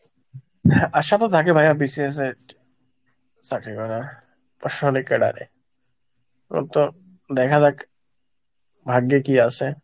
আশা তো থাকে ভাইয়া BCS এর চাকরি করা দেখা যাক, ভাগ্যে কি আছে.